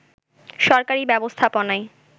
সরকারি ব্যবস্থাপনায়